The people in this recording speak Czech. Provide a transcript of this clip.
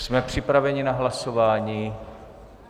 Jsme připraveni na hlasování?